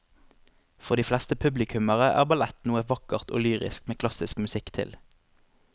For de fleste publikummere er ballett noe vakkert og lyrisk med klassisk musikk til.